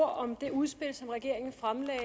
om det udspil som regeringen fremlagde i